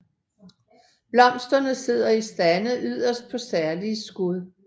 Blomsterne sidder i stande yderst på særlige skud